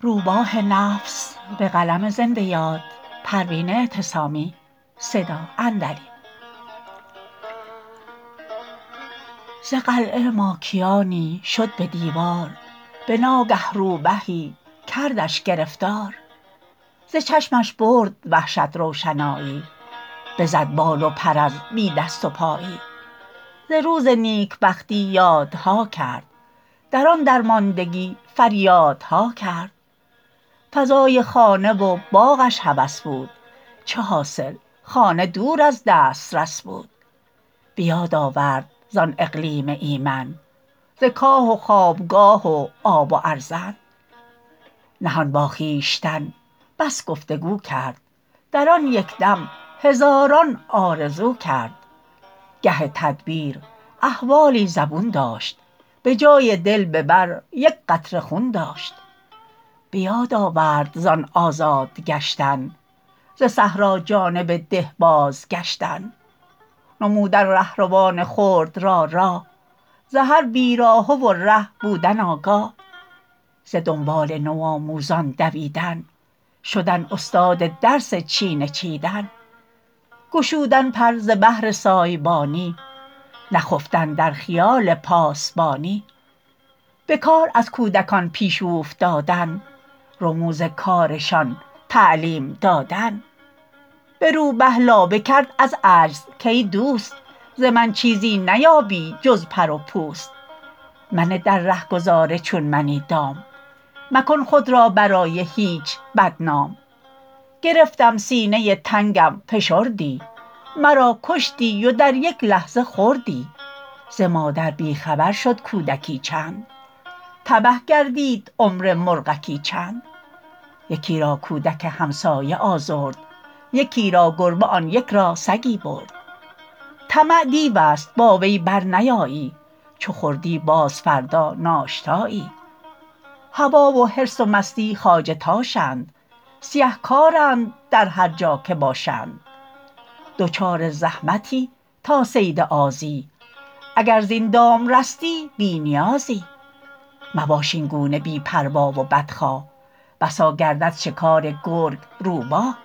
ز قلعه ماکیانی شد به دیوار بناگه روبهی کردش گرفتار ز چشمش برد وحشت روشنایی بزد بال و پر از بی دست و پایی ز روز نیکبختی یادها کرد در آن درماندگی فریادها کرد فضای خانه و باغش هوس بود چه حاصل خانه دور از دسترس بود بیاد آورد زان اقلیم ایمن ز کاه و خوابگاه و آب و ارزن نهان با خویشتن بس گفتگو کرد در آن یکدم هزاران آرزو کرد گهی تدبیر احوالی زبون داشت بجای دل ببر یکقطره خون داشت بیاد آورد زان آزاد گشتن ز صحرا جانب ده بازگشتن نمودن رهروان خرد را راه ز هر بیراهه و ره بودن آگاه ز دنبال نو آموزان دویدن شدن استاد درس چینه چیدن گشودن پر ز بهر سایبانی نخفتن در خیال پاسبانی بکار از کودکان پیش اوفتادن رموز کارشان تعلیم دادن برو به لابه کرد از عجز کایدوست ز من چیزی نیابی جز پر و پوست منه در رهگذار چون منی دام مکن خود را برای هیچ بدنام گرفتم سینه تنگم فشردی مرا کشتی و در یک لحظه خوردی ز مادر بی خبر شد کودکی چند تبه گردید عمر مرغکی چند یکی را کودک همسایه آزرد یکی را گربه آن یک را سگی برد طمع دیو است با وی برنیایی چو خوردی باز فردا ناشتایی هوی و حرص و مستی خواجه تاشند سیه کارند در هر جا که باشند دچار زحمتی تا صید آزی اگر زین دام رستی بی نیازی مباش اینگونه بی پروا و بدخواه بسا گردد شکار گرگ روباه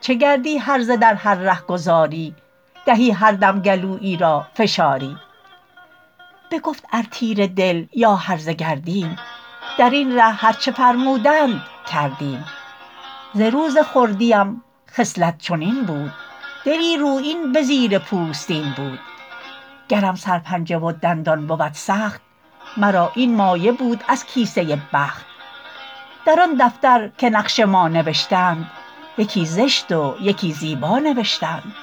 چه گردی هرزه در هر رهگذاری دهی هر دم گلویی را فشاری بگفت ار تیره دل یا هرزه گردیم درین ره هر چه فرمودند کردیم ز روز خردیم خصلت چنین بود دلی رویین بزیر پوستین بود گرم سر پنجه و دندان بود سخت مرا این مایه بود از کیسه بخت در آن دفتر که نقش ما نوشتند یکی زشت و یکی زیبا نوشتند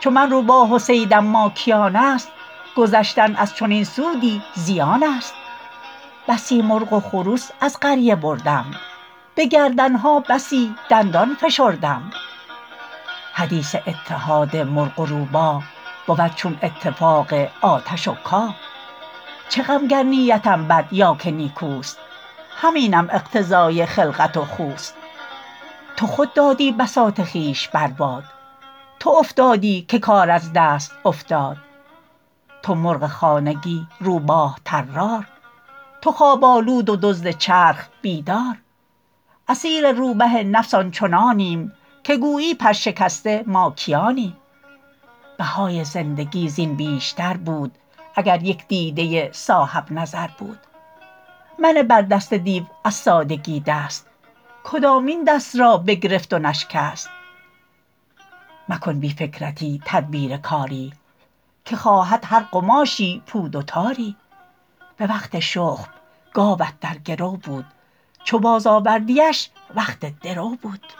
چو من روباه و صیدم ماکیانست گذشتن از چنین سودی زیانست بسی مرغ و خروس از قریه بردم بگردنها بسی دندان فشردم حدیث اتحاد مرغ و روباه بود چون اتفاق آتش و کاه چه غم گر نیتم بد یا که نیکوست همینم اقتضای خلقت و خوست تو خود دادی بساط خویش بر باد تو افتادی که کار از دست افتاد تو مرغ خانگی روباه طرار تو خواب آلود و دزد چرخ بیدار اسیر روبه نفس آن چنانیم که گویی پر شکسته ماکیانیم بهای زندگی زین بیشتر بود اگر یک دیده صاحب نظر بود منه بردست دیو از سادگی دست کدامین دست را بگرفت و نشکست مکن بی فکرتی تدبیر کاری که خواهد هر قماشی پود و تاری بوقت شخم گاوت در گرو بود چو باز آوردیش وقت درو بود